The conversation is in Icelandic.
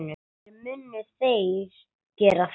En munu þeir gera það?